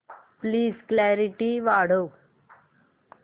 please clarity वाढव